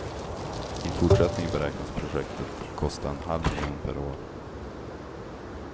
I fortsättningen beräknas projektet kosta en halv miljon per år.